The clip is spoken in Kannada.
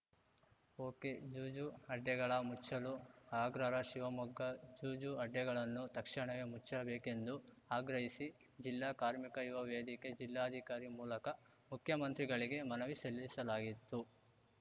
ಒಕೆಜೂಜು ಅಡ್ಡೆಗಳ ಮುಚ್ಚಲು ಆಗ್ರಹ ಶಿವಮೊಗ್ಗ ಜೂಜು ಅಡ್ಡೆಗಳನ್ನು ತಕ್ಷಣವೇ ಮುಚ್ಚಬೇಕೆಂದು ಆಗ್ರಹಿಸಿ ಜಿಲ್ಲಾ ಕಾರ್ಮಿಕ ಯುವ ವೇದಿಕೆ ಜಿಲ್ಲಾಧಿಕಾರಿ ಮೂಲಕ ಮುಖ್ಯಮಂತ್ರಿಗಳಿಗೆ ಮನವಿ ಸಲ್ಲಿಸಲಾಯಿತ್ತು